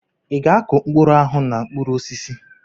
Ị ga-akụ mkpụrụ ahụ na mkpụrụ osisi?